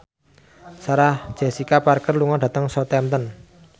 Sarah Jessica Parker lunga dhateng Southampton